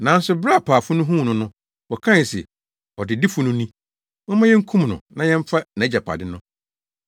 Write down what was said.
“Nanso bere a apaafo no huu no no, wɔkae se, ‘Ɔdedifo no ni, momma yenkum no na yɛmfa nʼagyapade no.’